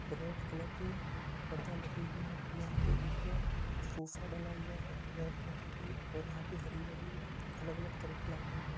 Red colour की पर्दा लगे हुए हैं और यहां पर ऊपर सोफा डाला हुआ है बैठने के लिए और यहां पर हरी-भरी अलग-अलग तरह की लाइटिंग है।